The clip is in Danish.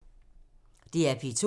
DR P2